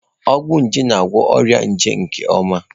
Ọgwụ nje na-agwọ ọrịa nje nke ọma.